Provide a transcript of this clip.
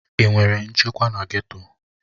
Ị nwere nchekwa na geto?